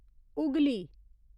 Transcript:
Hooghly